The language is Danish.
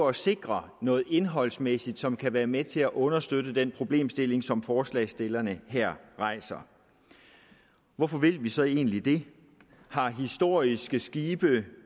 at sikre noget indholdsmæssigt som kan være med til understøtte den problemstilling som forslagsstillerne her rejser hvorfor vil vi så egentlig det har historiske skibe